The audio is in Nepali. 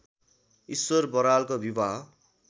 ईश्वर बरालको विवाह